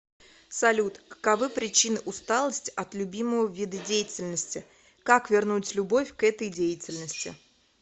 салют каковы причины усталости от любимого вида деятельности как вернуть любовь к этой деятельности